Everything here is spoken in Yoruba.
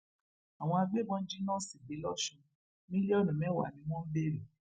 àwọn agbébọn jí nọọsì gbé lọsun mílíọnù mẹwàá ni wọn ń béèrè